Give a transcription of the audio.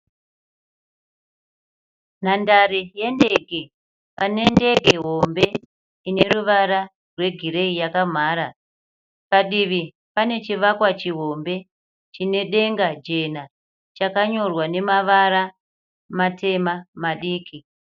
Nhandare yendege pane ndege hombe ine ruvara rwegireyi yakamhara. Padivi pane chivakwa chihombe chine denga jena chakanyorwa namavara matema madiki.